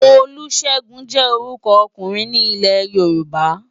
Olusegun jè órùkò òkúrin ni Ilè-Yoruba